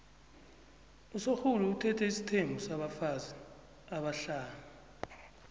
usorhulu uthethe isithembu sabafazi abahlanu